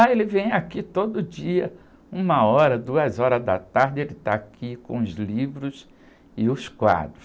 Ah, ele vem aqui todo dia, uma hora, duas horas da tarde, ele está aqui com os livros e os quadros.